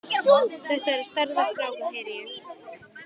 Þetta er stærðar strákur, heyri ég.